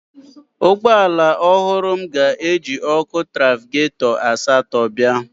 Ụgbọ ala ọhụrụ m ga-eji ọkụ trafịgatọ asatọ bịa